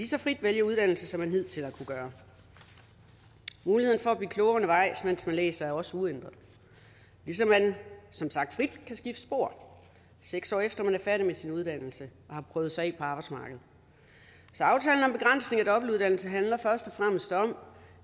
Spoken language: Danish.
så frit vælge uddannelse som man hidtil har kunnet gøre muligheden for at blive klogere undervejs mens man læser er også uændret ligesom man som sagt frit kan skifte spor seks år efter man er færdig med sin uddannelse og har prøvet sig af på arbejdsmarkedet så aftalen om begrænsning af dobbeltuddannelse handler først og fremmest om